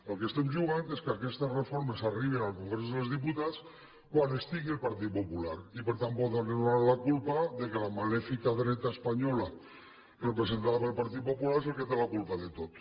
al que estem jugant és que aquestes reformes arribin al congrés dels diputats quan hi estigui el partit popular i per tant poder li donar la culpa que la malèfica dreta espanyola representada pel partit popular és la que té la culpa de tot